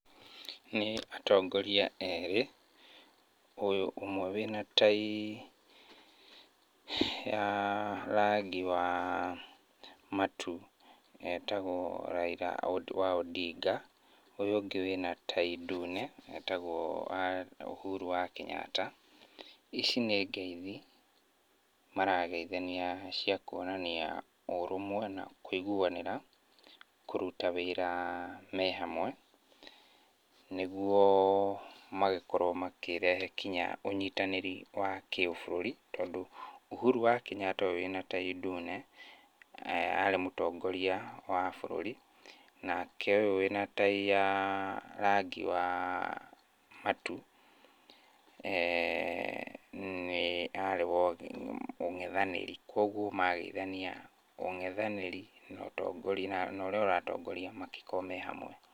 Nĩ atongoria erĩ, ũyũ ũmwe wĩna tai ya rangi wa matu etagwo Raila wa Ondinga. Ũyũ ũngĩ wĩna tai ndune etagwo Uhuru wa Kenyatta. Ici nĩ ngeithi marageithania cia kuonania ũrũmwe na kũiguanĩra kũruta wĩra me hamwe nĩguo magĩkorwo makĩrehe kinya ũnyitanĩri wa kĩbũrũri tondũ Uhuru wa Kenyatta ũyũ wĩna tai ndune arĩ mũtongoria wa bũrũri, nake ũyũ wĩna tai ya rangi wa matu, nĩ arĩ wa mũngethanĩri, kuoguo mageithania, mũngethanĩri na ũrĩa ũratongoria magĩkorwo me hamwe.